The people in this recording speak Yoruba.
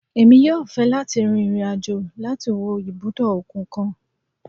Emí yọọ fẹ lati rín irín-ajò lati wo ibudọ okun kan